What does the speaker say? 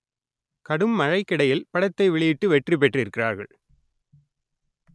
கடும் மழைக்கிடையில் படத்தை வெளியிட்டு வெற்றி பெற்றிருக்கிறார்கள்